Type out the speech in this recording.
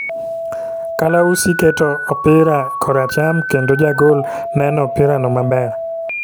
Kalausi keto obiro kora cham kendo Jagol neno opira no maber